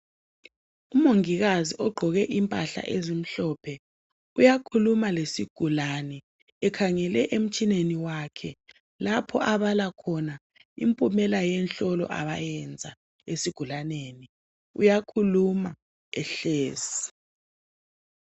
Umongikazi ogqoke impahla ezimhlophe uyakhuluma lesigulane ekhangele emtshineni wakhe lapho abala khona impumela yenhlolo abayenza esigulaneni uyakhuluma ehlezi.